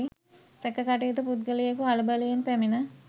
සැකකටයුතු පුද්ගලයකු කලබලයෙන් පැමිණ